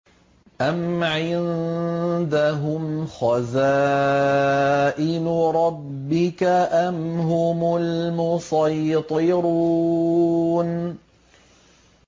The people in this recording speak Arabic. أَمْ عِندَهُمْ خَزَائِنُ رَبِّكَ أَمْ هُمُ الْمُصَيْطِرُونَ